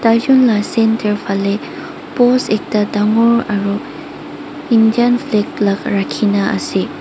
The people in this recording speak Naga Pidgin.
taijon la centre phale post ekta dangor aru Indian flag la rakhina ase.